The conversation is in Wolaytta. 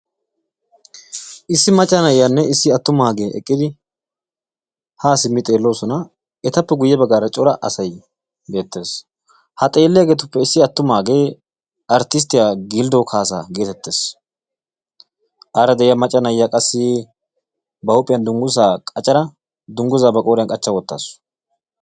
Issi macca na'iyanne issi attumaage eqqiidi ha simmi xeelloosona. etappe guyye baggaara cora asay beettes, hage ha xeeliyagge qassi Artisttiya Gilddo Kaassa getettees, aara de'ia macca na'iya qassi ba huuphiyan dungguza qachchada dungguza ba qooriyan qachcha wottaasu.